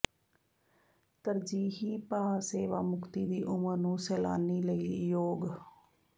ਤਰਜੀਹੀ ਭਾਅ ਸੇਵਾ ਮੁਕਤੀ ਦੀ ਉਮਰ ਨੂੰ ਸੈਲਾਨੀ ਲਈ ਯੋਗ